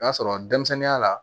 O y'a sɔrɔ denmisɛnninya la